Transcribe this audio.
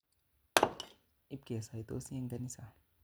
Ipke saitosi eng' kanisa.